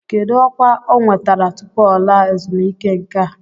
Kedu ọkwa ọ nwetara tupu ọ laa ezumike nka?